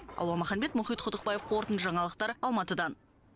алуа маханбет мұхит құдықбаев қорытынды жаңалықтар алматыдан